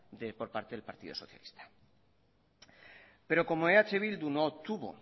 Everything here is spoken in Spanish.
por parte del partido socialista pero como eh bildu no tuvo